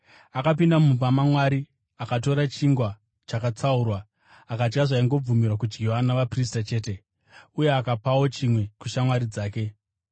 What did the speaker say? Akapinda mumba maMwari, akatora chingwa chakatsaurwa, akadya zvaingobvumirwa kudyiwa navaprista chete. Uye akapawo chimwe kushamwari dzake.”